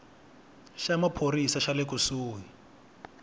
xa maphorisa xa le kusuhi